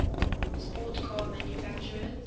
sports car manufacturers